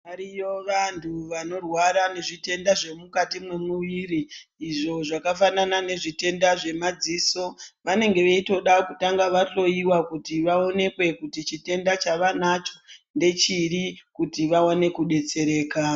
Variyo vanhu vanorwara nezvitenda zvemukati mwemuviri izvo zvakafanana nezvitenda zvemadziso vanenge veitoda kutanga vahloyiwa kuti vaonekwe kuti chitenda chavanacho ndechiri kuti vaone kudetsereka.